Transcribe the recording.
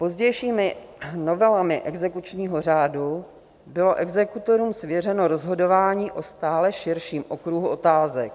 Pozdějšími novelami exekučního řádu bylo exekutorům svěřeno rozhodování o stále širším okruhu otázek.